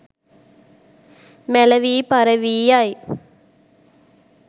මැලවී පරවී යයි.